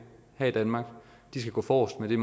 her i danmark skal gå forrest med det